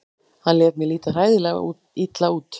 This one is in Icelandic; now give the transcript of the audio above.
Hann lét mig líta hræðilega illa út.